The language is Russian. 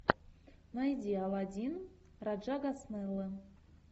найди аладдин раджа госнеллы